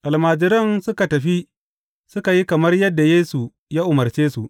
Almajiran suka tafi suka yi kamar yadda Yesu ya umarce su.